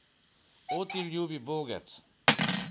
O, ti ljubi bogec!